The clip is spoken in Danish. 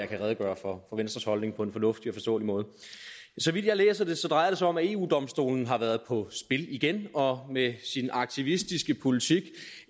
kan redegøre for venstres holdning på en fornuftig og forståelig måde så vidt jeg læser det drejer det sig om at eu domstolen har været på spil igen og med sin aktivistiske politik